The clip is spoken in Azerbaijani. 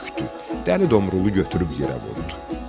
Dəli Domrulu götürüb yerə vurdu.